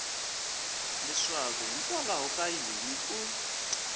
leswaku hikwalaho ka yini u